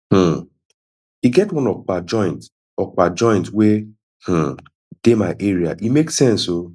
um e get one okpa joint okpa joint wey um dey my area e make sense o